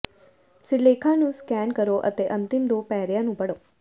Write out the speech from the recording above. ਸਿਰਲੇਖਾਂ ਨੂੰ ਸਕੈਨ ਕਰੋ ਅਤੇ ਅੰਤਿਮ ਦੋ ਪੈਰਿਆਂ ਨੂੰ ਪੜ੍ਹੋ